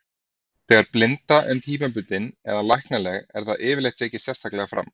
Þegar blinda er tímabundin eða læknanleg er það yfirleitt tekið sérstaklega fram.